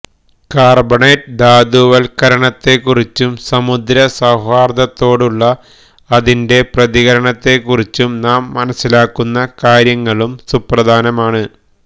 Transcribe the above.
carbonate ധാതുവൽക്കരണത്തെക്കുറിച്ചും സമുദ്രസൌഹാർദത്തോടുള്ള അതിന്റെ പ്രതികരണത്തെക്കുറിച്ചും നാം മനസ്സിലാക്കുന്ന കാര്യങ്ങളും സുപ്രധാനമാണ്